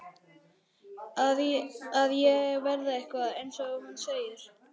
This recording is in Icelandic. Að ég verði eitthvað, eins og hún segir.